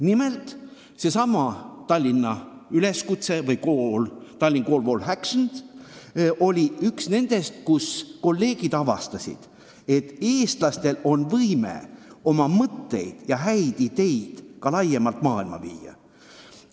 Nimelt, seesama "Tallinna üleskutse" või "The Tallinn Call for Action" oli üks tõend, tänu millele kolleegid avastasid, et eestlased suudavad oma mõtteid ja häid ideid ka laiemalt maailma viia.